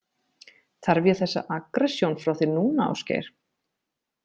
Þarf ég þessa aggressjón frá þér núna, Ásgeir?